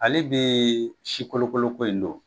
Hali bi sikolokoloko in don